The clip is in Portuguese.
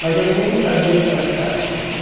Mas eu nem sabia o que era caixa.